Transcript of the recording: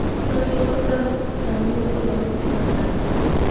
Soxiro darki gawoga lokutalakale.